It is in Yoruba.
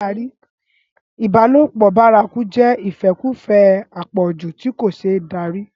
ìbálòpọ̀ bárakú jẹ́ ìfẹ́kùfẹ́ àpọ̀jù tí kò ṣeé darí